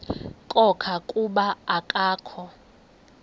khona kuba akakho